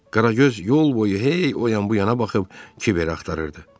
Qaragöz yol boyu hey o yan bu yana baxıb Kiveri axtarırdı.